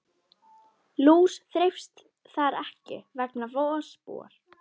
Lús þreifst þar ekki vegna vosbúðar.